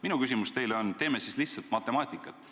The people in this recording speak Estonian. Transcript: Minu ettepanek teile on, et teeme siis lihtsat matemaatikat.